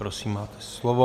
Prosím, máte slovo.